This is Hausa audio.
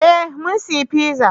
Eh mun saya fiza